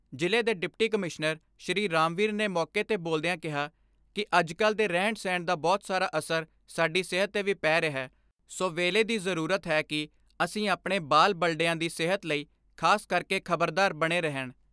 ਜਿਲ੍ਹੇ ਦੇ deputy commissioner Shri Ramvir ਨੇ ਮੌਕੇ ਤੇ ਬੋਲਦਿਆਂ ਕਿਹਾ ਕਿ ਅੱਜਕੱਲ ਦੇ ਰਹਿਣ ਸਹਿਣ ਦਾ ਬਹੁਤ ਸਾਰਾ ਅਸਰ ਸਾਡੀ ਸਿਹਤ ਤੇ ਵੀ ਪੈ ਰਿਹੈ ਸੋ ਵੇਲੇ ਦੀ ਜਰੂਰਤ ਹੈ ਕਿ ਅਸੀਂ ਅਪਾਣੇ ਬਾਲ ਬਲਡਿਆਂ ਦੀ ' ਸੇਹਤ ਲਈ ਖਾਸ ਕਰਕੇ ਖਬਰਦਾਰ ਬਣੇ ਰਹਿਣ।